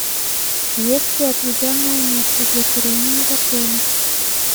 есть ли отведенное место для курения в отеле